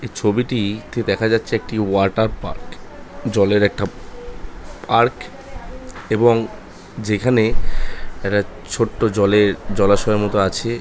ছবিটি তে দেখা যাচ্ছে একটি ওয়াটার পার্ক জলের একটা আ পার্ক এবং যেখানে একটা ছোট্ট জলের জলাশয় মতো আছে ।